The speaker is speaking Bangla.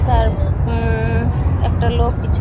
তার হমম একটা লোক কিছু --